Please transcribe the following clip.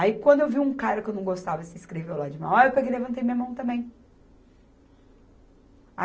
Aí, quando eu vi um cara que eu não gostava se inscreveu lá de Mauá, aí eu peguei e levantei minha mão também.